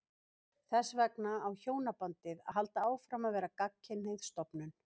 Þess vegna á hjónabandið að halda áfram að vera gagnkynhneigð stofnun.